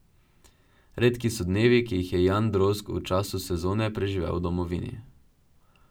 Redki so dnevi, ki jih Jan Drozg v času sezone preživi v domovini.